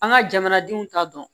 An ka jamanadenw ta dɔn